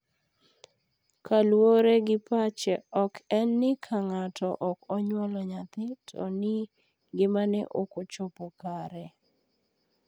kaluore gi pache ok en ni ka ng'ato ok onyuolo nyathi to ni ngimane ok ochopo kare.